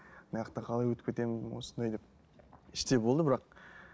қалай өтіп кетемін осындай деп іштей болды бірақ